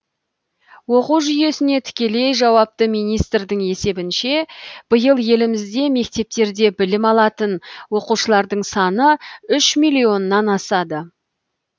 оқу жүйесіне тікелей жауапты министрдің есебінше биыл елімізде мектептерде білім алатын оқушылардың саны үш миллионнан асады